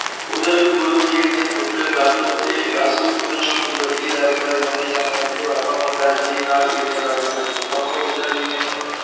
ਉਧਰ ਗੁਰੂ ਜੀ ਦੇ ਪੁੱਤਰ ਦਾਤੂ ਅਤੇ ਦਾਸੂ ਖੁਦ ਨੂੰ ਗੁਰਗੱਦੀ ਦਾ ਅਧਿਕਾਰੀ ਸਮਝਦੇ ਸਨ ਅਤੇ ਬਾਬਾ ਅਮਰਦਾਸ ਜੀ ਨਾਲ ਈਰਖਾ ਕਰਦੇ ਸਨ, ਬਾਬਾ ਬੁੱਢਾ ਜੀ ਨੇ